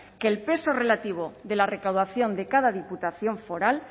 que el peso relativo de la recaudación de cada diputación foral